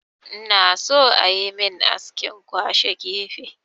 Ina so ayi min askin kwashe gefe